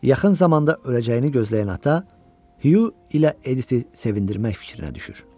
Yaxın zamanda öləcəyini gözləyən ata, Hyu ilə Editi sevindirmək fikrinə düşür.